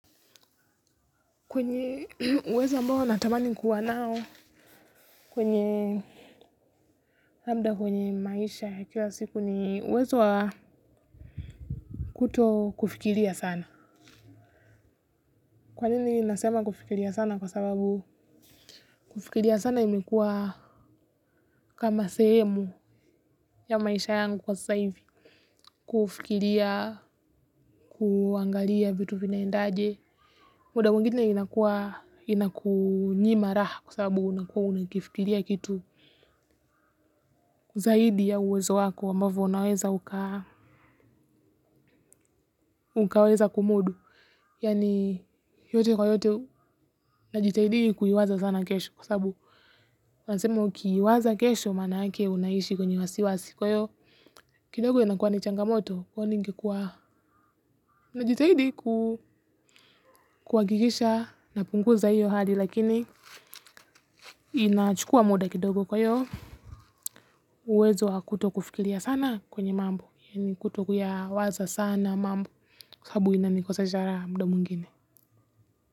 Kwenye uwezo ambao natamani kuwa nao, kwenye labda kwenye maisha ya kila siku ni uwezo wa kuto kufikiria sana. Kwa nini nasema kufikiria sana, kwa sababu kufikiria sana imekuwa kama sehemu ya maisha yangu kwa sasa hivi. Kufikiria kuangalia vitu vinaendaje, muda mwingine inakua inakunyima raha kwa sababu unakuwa unakifikiria kitu zaidi ya uwezo wako ambavyo unaweza ukaweza kumudu. Yaani yote kwa yote najitahidi kuiwaza sana kesho. Kwa sababu, unasema ukiiwaza kesho maana yake unaishi kwenye wasiwasi. Kwa hiyo, kidogo inakua ni changamoto kwani ingekuwa unajitahidi kuhakikisha napunguza hiyo hali. Lakini inachukua muda kidogo kwa hiyo uwezo wa kutokufikiria sana kwenye mambo. Yaani kutokuyawaza sana mambo. Sababu inanikosesha raha muda mwingine.